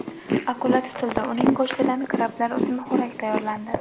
Akula tutildi, uning go‘shtidan krablar uchun xo‘rak tayyorlandi.